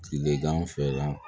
Tilegan fɛla